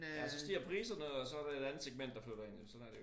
Ja så stiger priserne og det et andet segment der flytter jo ind sådan er det jo